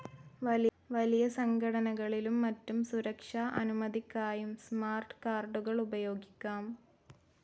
വലിയ സംഘടനകളിലും മറ്റും സുരക്ഷാ അനുമതിക്കായും സ്മാർട്ട്‌ കാർഡുകൾ ഉപയോഗിക്കാം.